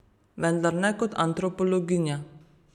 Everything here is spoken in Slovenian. Vendar ne kot antropologinja.